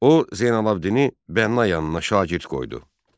O Zeynəlabdini bənna yanına şagird qoydu.